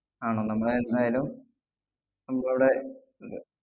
ആണോ, നമ്മളെ ന്നായാലും നമുക്കവിടെ